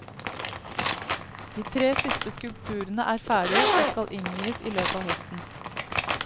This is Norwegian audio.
De tre siste skulpturene er ferdige, og skal innvies i løpet av høsten.